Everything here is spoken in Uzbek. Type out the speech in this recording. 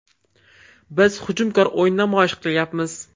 Biz hujumkor o‘yin namoyish qilyapmiz.